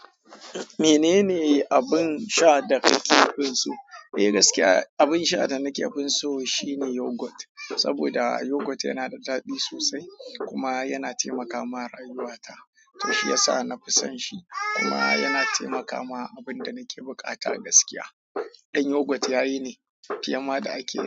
Menene abin sha da ka ke fin so? Eh gaskiya, abin sha da nake fin so shine yogurt, saboda yogurt yana da daɗi sosai kuma yana taimaka ma rayuwata. To shi yasa na fi son shi kuma yana taimaka ma abin da nake buƙata gaskiya. Don yogurt yayi ne, fiye ma da ake yi.